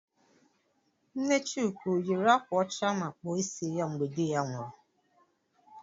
Nne Chuka ọ yiri ákwà ụcha ma kpụọ ịsị ya mgbe dị ya nwụrụ?